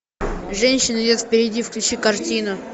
женщина идет впереди включи картину